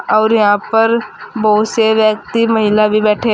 और यहां पर बोहोत से व्यक्ति महिला भी बैठे --